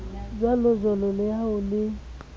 jwalojwalo le ha ho le